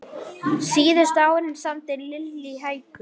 Síðustu árin samdi Lillý hækur.